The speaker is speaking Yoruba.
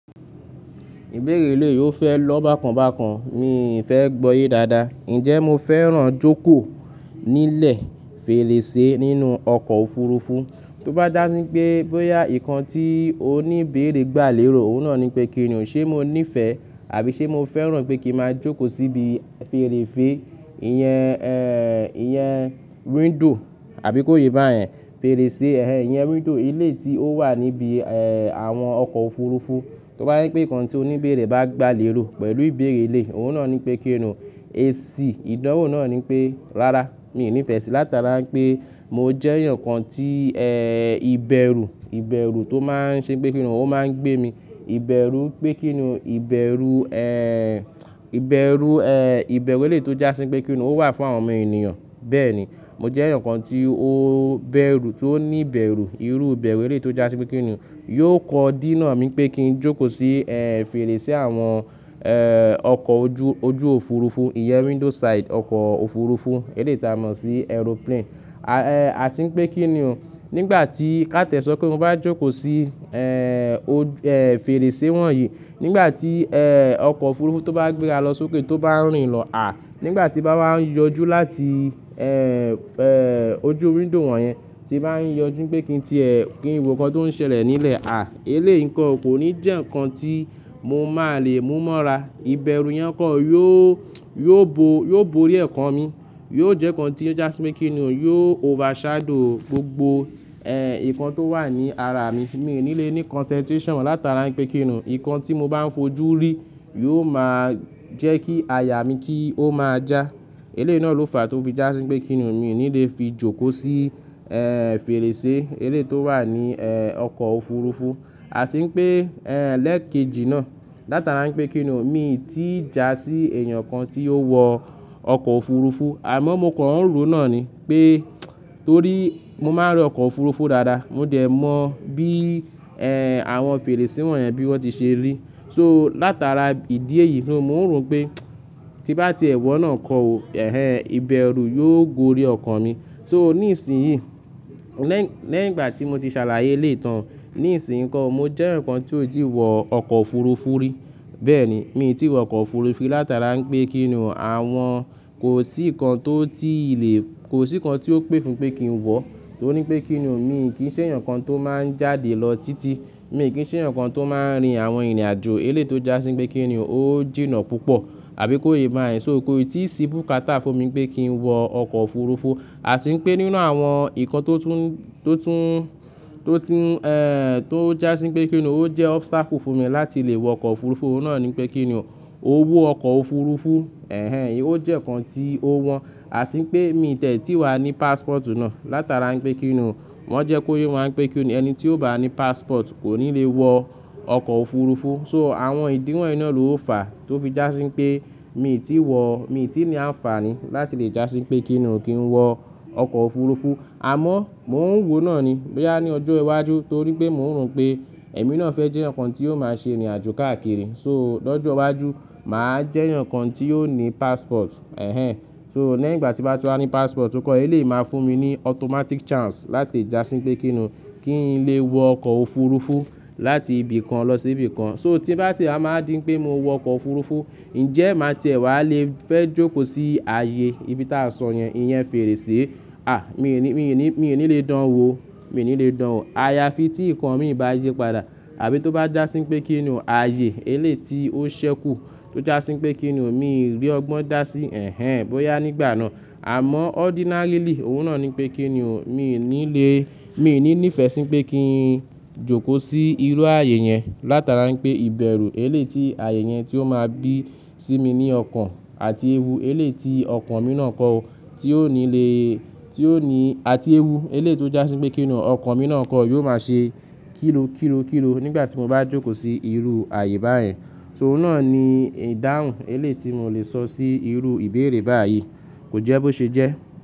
Ìbéèrè eléèé yóò fẹ́ lọ bákan bákan. Mi ò fẹ́ gbọ́yé dáadáa. Ǹjẹ́ mo fẹ́ràn jókòó nílẹ̀ fèrèsé nínú ọkọ̀ òfurufú? Tó bá dá sí pé bóyá ìkan tí oní ìbéèrè gbà lérò, òun náà ni pé kíni o, ṣé mo níìfẹ̀ àbí ṣé mo fẹ́ràn pé kí n máa jókòó síbi fèrèse, ìyẹn, ẹ́ẹ́, ìyẹn window àbí kó yé bá yẹn, fèrèsé, ẹhẹ̀n, ìyẹn window eléèé tí ó wà níbi, ẹ́ẹ́, àwọn ọkọ̀ òfurufú. Tó bá jẹ́ pé ìkan tí oní ìbéèrè bá gbà lérò pẹ̀lú ìbéèrè eléèé, òun náà ni pé kíni o, esi Ìdánwo náà ni pé, rárá, mi ò ní ìfẹ́ sí, látara pé mo jẹ́ èèyàn kan tí, ẹ́ẹ́, ìbẹ̀rù, ìbẹ̀rù tó máa ń ṣe pé kíni o, ó máa ń gbé mi. Ìbẹ̀rù pé kíni o, ìbẹ̀rù, ẹ́ẹ́, ìbẹ̀rù, ẹ́ẹ́, ìbẹ̀rù eléèé tó já sí pé kíni o, ó wà fún àwọn ọmọ ènìyàn. Bẹ́ẹ̀ni, mo jẹ́ èèyàn kan tí ó bẹ̀rù, tí ó ní ìbẹ̀rù irú ìbẹ̀rù eléèé tó já sí pé kíni o. Yóò kọ dí náà mi pé kí n jókòó sí, ẹ́ẹ́, fèrèsé àwọn, ẹ́ẹ́, ọkọ̀ ojú, ojú òfurufú, ìyẹn window side ọkọ̀ òfurufú eleyií tí a mọ̀ sí aeroplane. A ti wipé kíni o, nígbà tí ká tiẹ̀ sọ pé mo bá jókòó sí, ẹ́ẹ́, ò-- ẹ́ẹ́, fèrèsé wọ̀nyí, nígbà tí, ẹ́ẹ́, ọkọ̀ òfurufú tó bá gbé ra lọ sókè tó bá ń rìn lọ, à, nígbà tí nbá wá ń yọjú láti, ẹ́ẹ́, ẹ́ẹ́, ojú window wọ̀nyẹn, tí bá ń yọjú pé kí n ti ẹ, kí n wo nǹkan tó ń ṣẹlẹ̀ nílẹ̀, à, eléèé nǹkan kò ní jẹ́ nǹkan tí mo máa lè mú mọ́ra. Ìbẹ̀rù yẹn kan yóó, yóó bo, yóó bo orí okàn mi. Yóò jẹ́ nǹkan tí ó já sí pé kíni o, yóò overshadow gbogbo, ẹ́ẹ́, nǹkan tó wà ní ara mi. Mi ò ní lè ní concentration látara pé kíni o, nǹkan tí mo bá ń fojú rí yóò máa jẹ́ kí àyà mi kí ó máa já. Eléèé náà ló fàá tó fi jásí pé kíni o, mi ò ní lè fi jókòó sí, ẹ́ẹ́, fèrèsé eléèé tó wà ní, ẹ́ẹ́, ọkọ̀ òfurufú. Ati wipé, ẹ́ẹ́, lẹ́kejì náà látara pé kíni o, mi ò tíì já sí èèyàn kan tí ó wọ ọkọ̀ òfurufú. Àmọ́ mo kàn nrò náà ni pé torí mo máa rí ọkọ̀ òfurufú dáadáa. Mo dẹ̀ mọ̀ bí, ẹ́ẹ́, àwọn fèrèsé wọ̀nyẹn bí wọ́n ti ṣe rí. So látara ìdí èyí mo nrò pé tí mo bá ti ẹ wọ̀ náà kọ́, ẹhẹ̀n, ìbẹ̀rù yóò gorí ẹ̀kàn mi. So ní ìsìn yìí, lẹ́ì, lẹ́yin ìgbà tí mo ti ṣàlàyé eléètán, ní ìsìnyi nko o, mo jẹ́ eeyan kan tí ò ti wọ ọkọ̀ òfurufú rí. Bẹ́ẹ̀ni, mi ò tí wọ ọkọ̀ òfurufú rí látara pé kíni o, àwọn kò sí nǹkan tó ti lè, kò sí nǹkan tí ó pè fún pé kí n wọ̀. Torí pé kíni o, mi o kì í ṣe èèyàn kan tó máa ń jáde lọ títí. Mi ò kí í ṣe èèyàn kan tó máa ń rin àwọn ìrìnàjò elé yi tó já sí pé kíni o, ó jìnnà púpọ̀ àbí kó yé bá yẹn. So kò í tí sí bùkátá fún mi pé kí n wọ ọkọ̀ òfurufú. A ti wipé nínú àwọn nǹkan tó tún, tó tún, tó tún, ẹ́ẹ́, tó já sí pé kíni o, ó jẹ́ obstacle fún mi láti lè wọ ọkọ̀ òfurufú, òun náà ni pé kíni o, owó ọkọ̀ òfurufú, ẹhẹ̀n, ó jẹ́ nǹkan tí ó wọ́n. A ti wipé mi de tí wà ní passport náà látara wipé kíni o, wọ́n jẹ́ kó yé wipé kíni o, ẹni tí ò bá ní passport kò ní lè wọ ọkọ̀ òfurufú. So àwọn ìdí wọ̀nyi ná ló fàá tó fi jásí pé mi ò tí wọ̀, mi ò tí ní àǹfààní láti lè jásí pé kíni o, kí n wọ ọkọ̀ òfurufú. Àmọ́ mò ń wò náà ni bóyá ní ọjọ́ iwájú torí pé mò ń rò pé ẹ̀mí náà fẹ́ jẹ́ eeyan kan tí yóò máa ṣe ìrìnàjò káàkiri. So, lọ́jọ́ iwájú màá jẹ́ eeyan kan tí yóò ní passport, ẹhẹ̀n. So, lẹ́yin ìgbà tí mo bá ti wà ní passport nko, eléyi máa fún mi ní automatic chance láti jásí pé kíni o, kí n lè wọ ọkọ̀ òfurufú láti ibì kan lọ sí ibì kan. So tí n bá ti a máa díń pé mo wọ ọkọ̀ òfurufú, ǹjẹ́ màá ti ẹ wà lè fẹ́ jókòó sí ààyè ibi tí a sọ yẹn, ìyẹn fèrèsé? À, mi ò ní, mi ò ní, mi ò ní lè dán wo, mi ò ní lè dán wo. Ààyà fi tí nǹkan mi bá yípadà àbí tó bá jásí pé kíni o, ààyè eléyí tí ó ṣẹ́kù tó já sí pé kíni o, mi i rí ọgbọ́n dá sí, ẹhẹ̀n, bóyá nígbà náà. Àmọ́ ordinarily òun náà ni pé kíni o, mi ò ní lè, mi ò ní ní ìfẹ́ sí pé kí n jókòó sí irú ààyè yẹn látara pé ìbẹ̀rù eléyí tí ààyè yẹn tí ó máa gbé sí mi ní ọkàn àti ewu eléyí tí ọkàn mi náà kọ́ tí ò ní lè, tí ò ní, àti ewu eléyi tó já sí pé kíni o, ọkàn mi náà kọ́ yóò máa ṣe kíro, kíro kíro nígbà tí mo bá jókòó sí irú ààyè báyen, So òun náà ni ìdáhùn eléyí tí mò lè sọ sí irú ìbéèrè báyìí. Kò jẹ́ bó ṣe jẹ́.